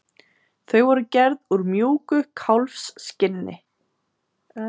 Þau voru gerð úr mjúku kálfskinni.